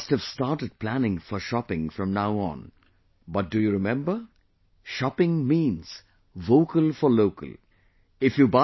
All of you must have started planning for shopping from now on, but do you remember, shopping means 'VOCAL FOR LOCAL'